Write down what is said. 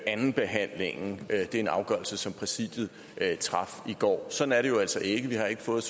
andenbehandlingen det er en afgørelse som præsidiet traf i går sådan er det jo altså ikke vi har ikke fået